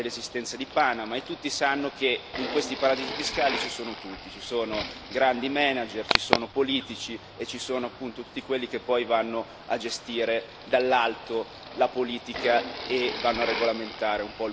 Tutti sapevano dell'esistenza di Panama e tutti sanno che in questi paradisi fiscali ci sono tutti ci sono grandi manager, ci sono politici e ci sono appunto tutti quelli che poi vanno a gestire dall'alto la politica